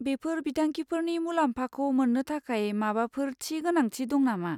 बेफोर बिथांखिफोरनि मुलाम्फाखौ मोन्नो थाखाय माबाफोर थि गोनांथि दं नामा?